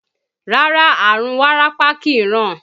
Rárá, àrùn wárápá kìí ràn